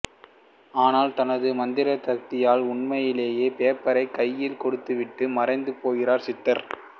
ஆனால் தனது மந்திர சக்தியால் உண்மையிலேயே பேப்பரை கையில் கொடுத்துவிட்டு மறைந்து போகிறார் சித்தர்